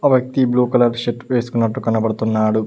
వ్యక్తి blue colour shirt వేసుకున్నట్టు కనబడుతున్నాడు.